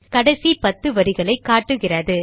கடைசி பத்து வரிகளை காட்டுகிறது